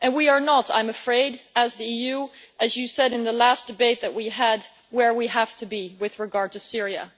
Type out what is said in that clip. I am afraid that we are not, as the EU as you said in the last debate that we had where we have to be with regard to Syria.